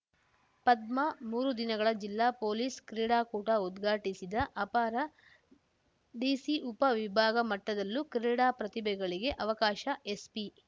ಪದ್ಮಾ ಮೂರು ದಿನಗಳ ಜಿಲ್ಲಾ ಪೊಲೀಸ್‌ ಕ್ರೀಡಾಕೂಟ ಉದ್ಘಾಟಿಸಿದ ಅಪರ ಡಿಸಿ ಉಪ ವಿಭಾಗ ಮಟ್ಟದಲ್ಲೂ ಕ್ರೀಡಾ ಪ್ರತಿಭೆಗಳಿಗೆ ಅವಕಾಶ ಎಸ್ಪಿ